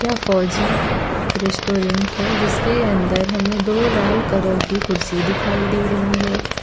फौजी रेस्टोरेंट है जिसके अंदर हमें दो लाल कलर की कुर्सी दिखाई दे रही है।